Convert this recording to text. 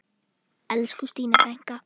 Elsku Stína frænka.